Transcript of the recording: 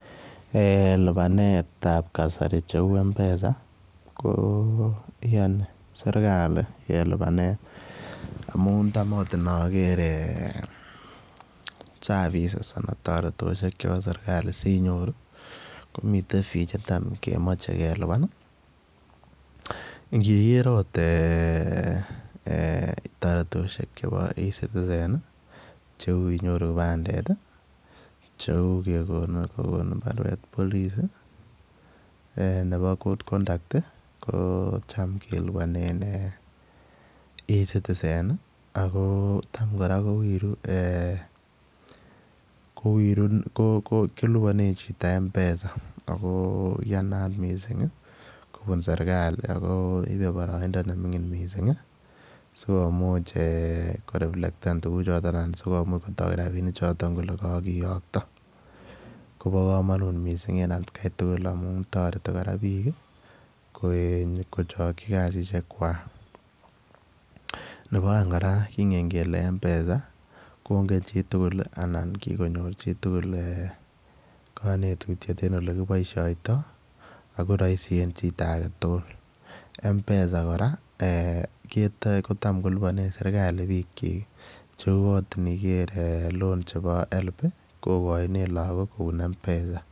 Lubanetab kasari cheuu mpesa, ngamuun Cham akot ndaker service anan taretosiek chebo sirkali sinyoru komiten fee cheame kelubani ih.iniker akot taretosiek cheuu e-citizen, cheuu inyoru kibandet ih anan kobarwet nebo good conduct ih ko cham kelibanen e-citizen ih ak en kora kowiru kelibanen mpesa koiyanat missing kobun seekali ako ibe baraindo neming'in missing sikomuch ko reflect tukuchuton sikomuch kiiyokta. Kobagamanut missing ngamuun tareti bik ih kochakchi kasisiekwak. Nebaaeng kingen kele mpesa kongen chitugul anan kikonyor chitugul kanetutiet en elekiboisiato ako raisi en chito agetugul mpesa kora kelibanen serkali bik chik cheu akot iniker higher education loans board kobaishien mpesa.